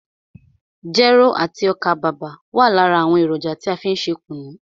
Jero àti ọ́kà bàbà wa lára àwọn èròjà tí a fí n ṣe kùnú.